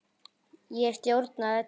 Ég stjórna öllu.